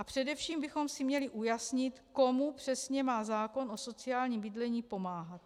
A především bychom si měli ujasnit, komu přesně má zákon o sociálním bydlení pomáhat.